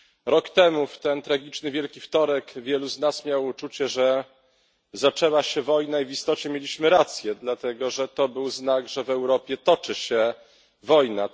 Rok temu, w ten tragiczny Wielki Wtorek, wielu z nas miało uczucie, że zaczęła się wojna, i w istocie mieliśmy rację, dlatego że to był znak, że w Europie toczy się wojna.